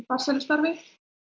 farsælu starfi